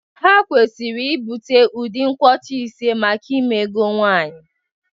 Ha kwesịrị ịbute udu nkwocha ise maka ime ego nwanyị